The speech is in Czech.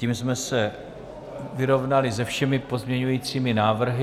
Tím jsme se vyrovnali se všemi pozměňujícími návrhy.